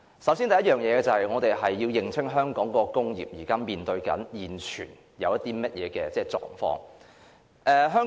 首先，我們要認清香港工業現正面對的一些狀況。